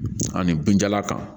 Ani binjalan kan